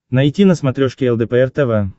найти на смотрешке лдпр тв